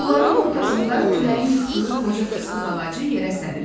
Bunların ortasında küləyin yıxdığı qoca fıstıq ağacı yerə sərilib.